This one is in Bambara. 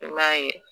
I m'a ye